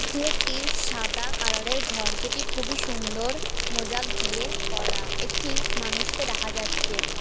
এটি একটি সাদা কালার -এর ঘর যেটি খুবই সুন্দর মোজাক দিয়ে করা একটি মানুষকে দেখা যাচ্ছে।